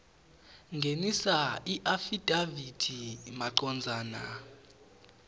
ngenisa iafidavithi macondzana